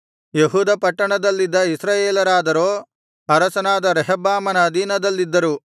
ಯೆಹೂದ ಪಟ್ಟಣದಲ್ಲಿದ್ದ ಇಸ್ರಾಯೇಲರಾದರೋ ಅರಸನಾದ ರೆಹಬ್ಬಾಮನ ಅಧೀನದಲ್ಲಿದ್ದರು